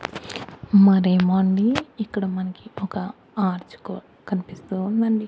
మరి ఏమో అండి ఇక్కడ మనకు ఒక ఆర్చ్ కూ కనిపిస్తూ ఉందండి.